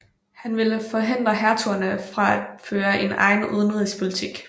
Han ville forhindre hertugerne fra at føre en egen udenrigspolitik